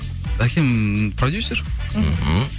әкем продюсер мхм